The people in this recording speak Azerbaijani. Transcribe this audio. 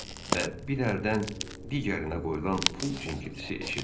Və bir əldən digərinə qoyulan pul cingiltisi eşidildi.